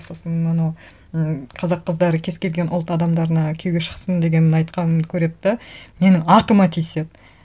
сосын анау м қазақ қыздары кез келген ұлт адамдарына күйеуге шықсын дегенін айтқанымды көреді де мені атыма тиіседі